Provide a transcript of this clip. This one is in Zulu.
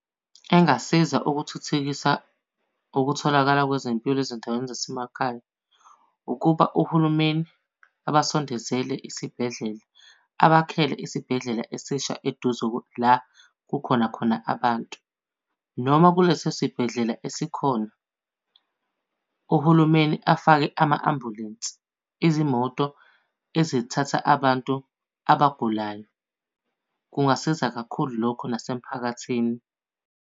Engasiza ukuthuthukisa ukutholakala kwezempilo ezindaweni zasemakhaya, ukuba uhulumeni abasondezele isibhedlela. Abakhele isibhedlela esisha eduze la kukhona khona abantu. Noma kuleso sibhedlela esikhona, uhulumeni afake ama-ambulensi izimoto ezithatha abantu abagulayo. Kungasiza kakhulu lokho nasemphakathini.